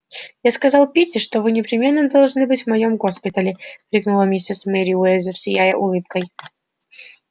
я сказал питти что вы непременно должны быть в моем госпитале крикнула миссис мерриуэзер сияя улыбкой